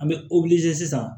An bɛ sisan